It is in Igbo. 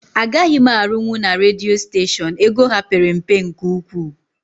Agaghị m arunwu na redio steshion, ego ha père mpe nke ụkwụ